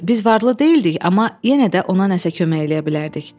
Düzdür, biz varlı deyildik, amma yenə də ona nəsə kömək eləyə bilərdik.